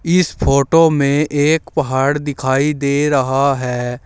इस फोटो में एक पहाड़ दिखाई दे रहा है।